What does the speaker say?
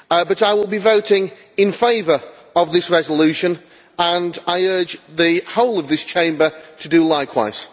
I will be voting in favour of this resolution, and I urge the whole of this Chamber to do likewise.